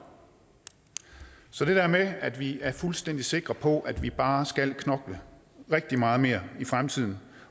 så det der med at vi er fuldstændig sikre på vi bare skal knokle rigtig meget mere i fremtiden